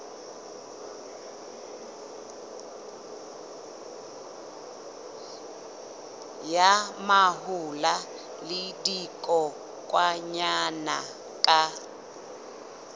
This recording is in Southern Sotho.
ya mahola le dikokwanyana ka